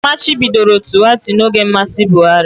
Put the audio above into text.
Amachibidoro Tuweeta n'oge mmasị Buhari